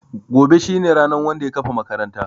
Gobe shine ranan Wanda ya kafa makaranta.